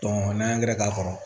n'an ye k'a kɔrɔ